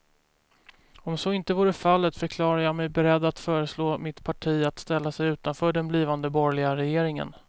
Om så inte vore fallet förklarade jag mig beredd att föreslå mitt parti att ställa sig utanför den blivande borgerliga regeringen.